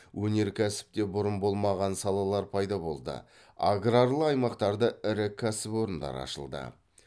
өнеркәсіпте бұрын болмаған салалар пайда болды аграрлы аймақтарда ірі кәсіпорындар ашылды